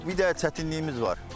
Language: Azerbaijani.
Bir dənə çətinliyimiz var.